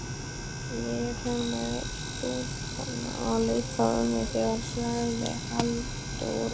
Ég fer með stúlkurnar að leita ömmu þeirra, sagði Halldóra.